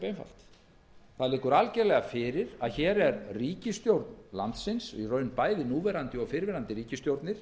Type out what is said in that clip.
málið er ósköp einfalt það liggur algjörlega fyrir að ríkisstjórn landsins bæði núverandi og fyrrverandi ríkisstjórnir